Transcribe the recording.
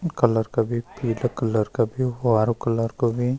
कलर का भी पीला कलर का भी हारू कलर का भी।